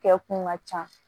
Kɛ kun ka ca